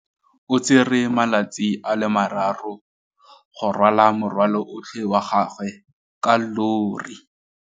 O tsere malatsi a le marraro go rwala morwalo otlhe wa gagwe ka llori.